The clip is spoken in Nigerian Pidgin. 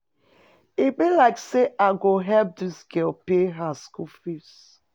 E be like sey I go help dis girl pay her skool fees.